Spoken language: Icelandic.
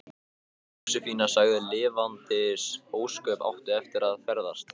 Jósefína sagði: Lifandis ósköp áttu eftir að ferðast.